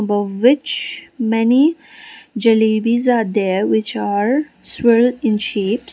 of which many jalebis are there which are spiral in shapes.